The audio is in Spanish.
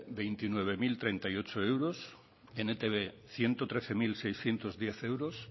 veintinueve mil treinta y ocho euros en etb ciento trece mil seiscientos diez euros